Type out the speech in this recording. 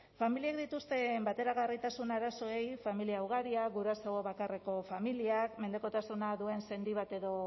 familiek dituzten bateragarritasun arazoei familia ugaria guraso bakarreko familiak mendekotasuna duen sendi bat edo